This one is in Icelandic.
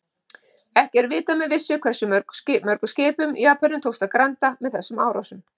Ekki er vitað með vissu hversu mörgum skipum Japönum tókst að granda með þessum árásum.